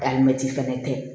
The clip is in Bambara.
Alimɛti fɛnɛ tɛ